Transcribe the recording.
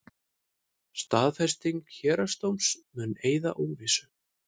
Staðfesting héraðsdóms mun eyða óvissu